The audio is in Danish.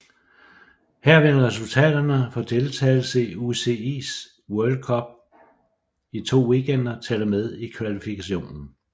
Her vil resultaterne for deltagelsen i UCI World Cup i to weekender tælle med i kvalifikationen